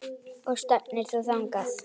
Og stefnir þú þangað?